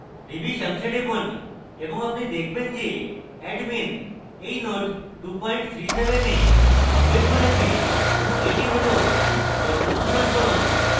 revisions এ টিপুন এবং আপনি দেখবেন যে admin এই node 2:37 এ আপডেট করেছে এবং এটি has বর্তমান সংস্করণ